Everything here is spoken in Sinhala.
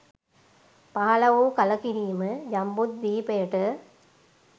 පහළ වූ කළකිරීම ජම්බුද්වීපයට